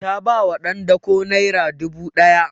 Ta ba wa ɗan dako naira dubu ɗaya